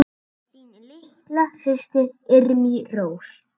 Þín litla systir, Irmý Rós.